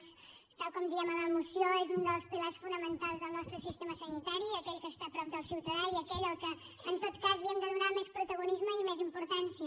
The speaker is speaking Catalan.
tal com ho diem a la moció és un dels pilars fonamentals del nostre sistema sanitari aquell que està a prop del ciutadà i aquell al qual en tot cas li hem de donar més protagonisme i més importància